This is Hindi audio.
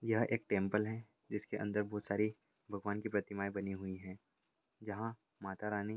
यह एक टेंपल है जिसके अंदर बहुत सारी भगवान की प्रतिमाएं बनी हुई हैं जहाँ माता रानी --